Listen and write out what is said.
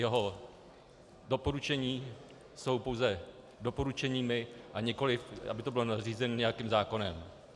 Jeho doporučení jsou pouze doporučeními, a nikoliv aby to bylo nařízeno nějakým zákonem.